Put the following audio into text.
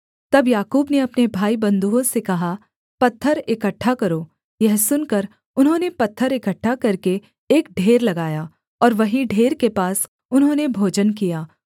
तब याकूब ने अपने भाईबन्धुओं से कहा पत्थर इकट्ठा करो यह सुनकर उन्होंने पत्थर इकट्ठा करके एक ढेर लगाया और वहीं ढेर के पास उन्होंने भोजन किया